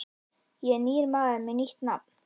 Ég er nýr maður með nýtt nafn.